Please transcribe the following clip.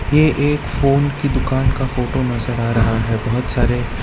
ये एक फोन की दुकान का फोटो नजर आ रहा है बहुत सारे --